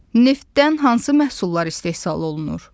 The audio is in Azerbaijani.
Neftdən hansı məhsullar istehsal olunur?